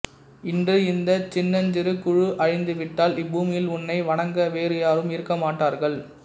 இன்று இந்த சின்னஞ்சிறு குழு அழிந்து விட்டால் இப்பூமியில் உன்னை வணங்க வேறு யாரும் இருக்க மாட்டார்கள்